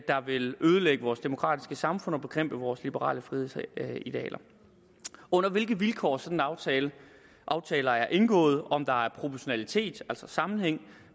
vil ødelægge vores demokratiske samfund og bekæmpe vores liberale frihedsidealer under hvilke vilkår sådanne aftaler aftaler er indgået om der er proportionalitet altså sammenhæng